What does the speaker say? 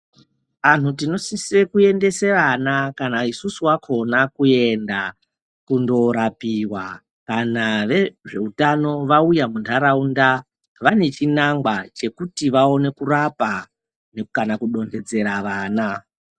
Vantu tinosisa kuendesa vana kana isusu vakona kuenda kundorapiwa kana vezvehutano vauya mundaraunda vane chinangwa chekuti vaone kurapa kana kudonhedzera vana.